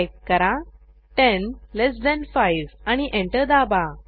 type करा 10 less than 5 आणि enter दाबा